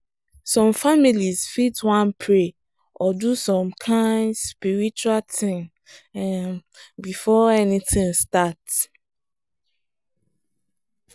some families fit wan pray or do some kind spiritual thing um before anything start.